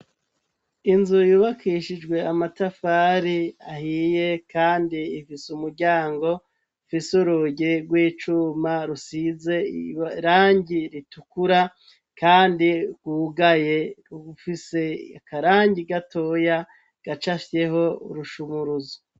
Inzu yubakishijwe amatafari ahiye, kandi imfise umuryango fise uruge rw'icuma rusize irangi ritukura, kandi rwugaye ugufise akarangi gatoya gacashyeho urushumuruzu.